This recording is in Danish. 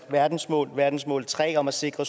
verdensmål verdensmål tre om at sikre